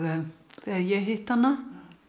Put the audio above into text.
þegar ég hitti hana